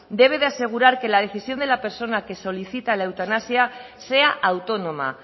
debe de asegurar que la decisión de la persona que solicita la eutanasia sea autónoma